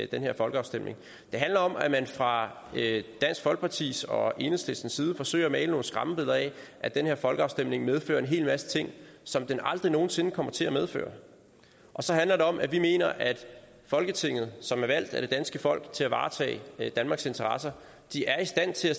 den her folkeafstemning det handler om at man fra dansk folkepartis og enhedslistens side forsøger at male nogle skræmmebilleder af at den her folkeafstemning medfører en hel masse ting som den aldrig nogen sinde kommer til at medføre og så handler det om at vi mener at folketinget som er valgt af det danske folk til at varetage danmarks interesser er i stand til at